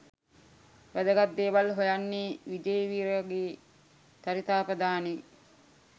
වැදගත් දේවල් හොයන්නේ විජේවීරගේ චරිතාපදානේ?